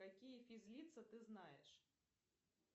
какие физлица ты знаешь